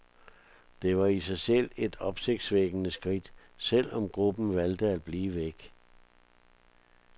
Det var i sig selv et opsigtvækkende skridt, selv om gruppen valgte at blive væk.